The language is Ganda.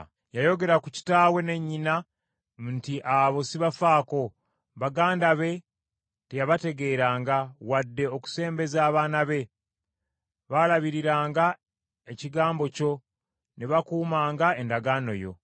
Yayogera ku kitaawe ne nnyina nti, ‘Abo sibafaako.’ Baganda be teyabategeeranga wadde okusembeza abaana be; baalabiriranga ekigambo kyo ne bakuumanga endagaano yo.